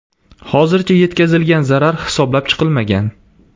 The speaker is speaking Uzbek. Hozircha yetkazilgan zarar hisoblab chiqilmagan.